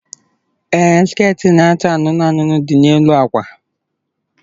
Ee, skit na-acha anụnụ anụnụ dị n'elu akwa.